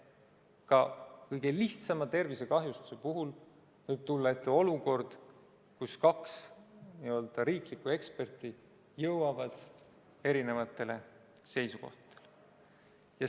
Ka kõige lihtsama tervisekahjustuse puhul võib tulla ette olukord, kus kaks n-ö riiklikku eksperti jõuavad erinevatele seisukohtadele.